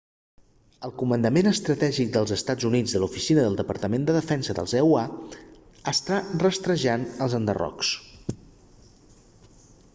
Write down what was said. el comandament estratègic dels estats units de l'oficina del departament de defensa dels eua està rastrejant els enderrocs